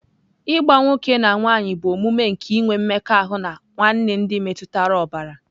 Ịgba nwoke na nwanyị bụ omume nke inwe mmekọahụ na nwanne ndị metụtara ọbara.